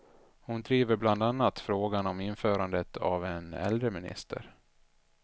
Hon driver bland annat frågan om införandet av en äldreminister.